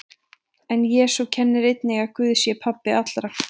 En Jesú kennir einnig að Guð sé pabbi allra.